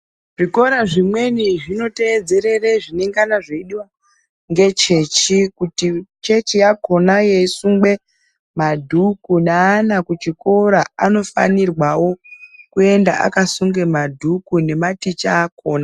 Zvikora zvimweni zvinotedzerera zvinenge zvichidiwa ngechechi kuti chechi yakona yeisungwa madhuku neana kuchikora anofanirwawo kuenda akasunga madhuku nematicha akona.